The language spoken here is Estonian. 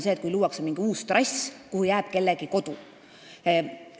See, kui luuakse mingi uus trass, millele jääb ette kellegi kodu, on üks võimalus.